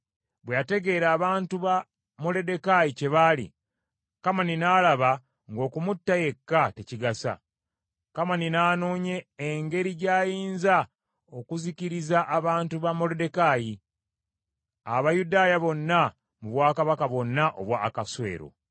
Bwe yategeera abantu ba Moluddekaayi kye bali, Kamani n’alaba ng’okumutta yekka tekigasa. Kamani n’anoonya engeri gy’ayinza okuzikiriza abantu ba Moluddekaayi, Abayudaaya bonna mu bwakabaka bwonna obwa Akaswero.